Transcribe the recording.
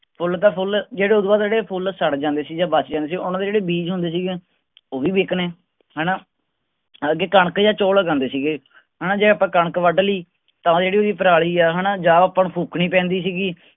ਫੁੱਲ ਤਾਂ ਫੁੱਲ ਜਿਹੜੇ ਓਹਤੋਂ ਬਾਅਦ ਜਿਹੜੇ ਫੁੱਲ ਸੜ ਜਾਂਦੇ ਸੀ ਜਾਂ ਬਚ ਜਾਂਦੇ ਸੀ ਉਹਨਾਂ ਦੇ ਜਿਹੜੇ ਬੀਜ ਹੁੰਦੇ ਸੀਗੇ ਉਹ ਵੀ ਵਿਕਣੇ ਹੈਨਾ। ਅੱਗੇ ਕਣਕ ਜਾਂ ਚੌਲ ਉਗਾਉਂਦੇ ਸੀਗੇ ਹੈਨਾ ਜਾਂ ਆਪਾਂ ਕਣਕ ਵੜ ਲਈ ਤਾਂ ਜਿਹੜੀ ਓਹਦੀ ਪਰਾਲੀ ਆ ਹੈਨਾ ਜਾਂ ਆਪਾਂ ਨੂੰ ਫੂਕਣੀ ਪੈਂਦੀ